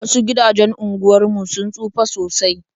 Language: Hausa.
Wasu gidajen unguwar mu sun tsufa sosai.